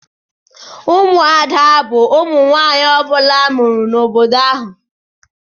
Ụmụada bu ụmụ nwanyị ọbula amụrụ n'obodo ahụ.